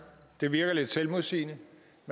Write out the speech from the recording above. altså jeg sige